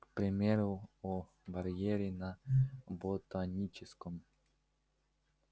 к примеру о барьере на ботаническом